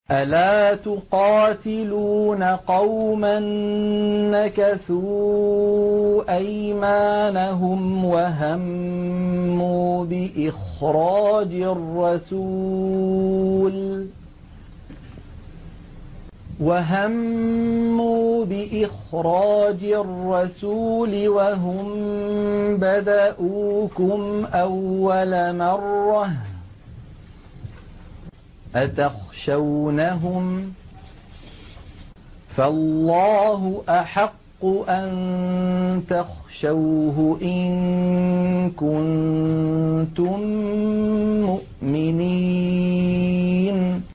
أَلَا تُقَاتِلُونَ قَوْمًا نَّكَثُوا أَيْمَانَهُمْ وَهَمُّوا بِإِخْرَاجِ الرَّسُولِ وَهُم بَدَءُوكُمْ أَوَّلَ مَرَّةٍ ۚ أَتَخْشَوْنَهُمْ ۚ فَاللَّهُ أَحَقُّ أَن تَخْشَوْهُ إِن كُنتُم مُّؤْمِنِينَ